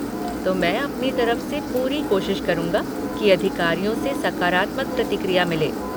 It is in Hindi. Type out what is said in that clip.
तो मैं अपनी तरफ़ से पूरी कोशिश करूँगा कि अधिकारियों से सकारात्मक प्रतिक्रिया मिले।